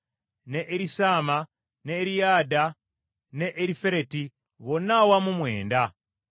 ne Erisaama, ne Eriyada, ne Erifereti, bonna awamu mwenda.